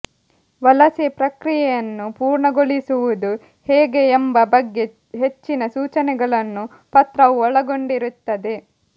ವಲಸೆ ಪ್ರಕ್ರಿಯೆಯನ್ನು ಪೂರ್ಣಗೊಳಿಸುವುದು ಹೇಗೆ ಎಂಬ ಬಗ್ಗೆ ಹೆಚ್ಚಿನ ಸೂಚನೆಗಳನ್ನು ಪತ್ರವು ಒಳಗೊಂಡಿರುತ್ತದೆ